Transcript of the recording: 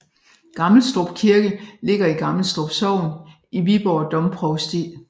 Gammelstrup Kirke ligger i Gammelstrup Sogn i Viborg Domprovsti